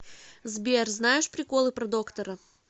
сбер знаешь приколы про доктора